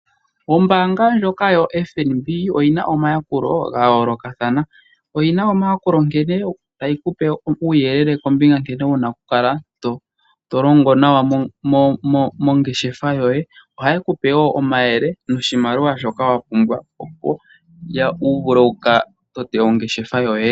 Ombaanga ndjoka yo FNB oyina omayakulo ga yoolokathana. Oyina omayakulo nkene tayi kupe uuyelele kombinga nkene wuna okukala tolongo nawa mongeshefa yoye . Ohaye kupe woonomayele noshimaliwa shoka wa pumbwa opo wuvule oku totapo ongele yoye.